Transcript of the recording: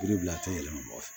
Yiri bila a tɔ yɛlɛma fɛ